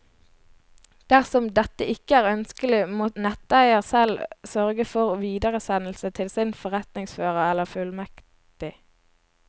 Dersom dette ikke er ønskelig, må netteier selv sørge for videresendelse til sin forretningsfører eller fullmektig.